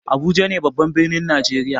Abuja ne babban birnin najeriya.